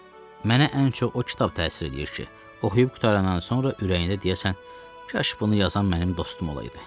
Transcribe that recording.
Mənə ən çox o kitab təsir eləyir ki, oxuyub qurtarandan sonra ürəyində deyəsən, kaş bunu yazan mənim dostum olaydı.